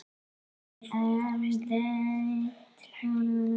Hér sést fáni Hvíta-Rússlands til vinstri og Rússlands til hægri.